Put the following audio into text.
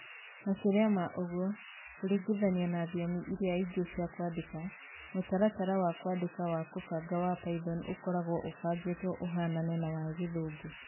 Makĩria ma ũguo, kũringithanio na thiomi iria ingĩ cia kwandĩka, mũtaratara wa kwandĩka wa kũbanga wa Python ũkoragwo ũbangĩtwo ũhaanane na wa Gĩthũngũ.